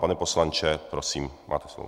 Pane poslanče, prosím, máte slovo.